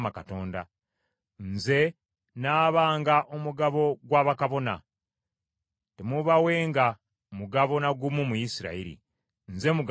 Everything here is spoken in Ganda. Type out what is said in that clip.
“ ‘Nze nnaabanga omugabo gwa bakabona. Temuubawenga mugabo na gumu mu Isirayiri; nze mugabo gwabwe.